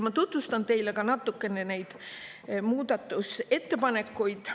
Ma tutvustan teile ka natukene neid muudatusettepanekuid.